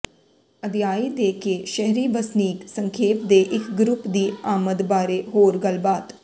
ਅਧਿਆਇ ਦੇ ਕੇ ਸ਼ਹਿਰੀ ਵਸਨੀਕ ਸੰਖੇਪ ਦੇ ਇਕ ਗਰੁੱਪ ਦੀ ਆਮਦ ਬਾਰੇ ਹੋਰ ਗੱਲਬਾਤ